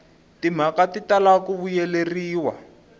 timhaka ti tala ku vuyeleriwa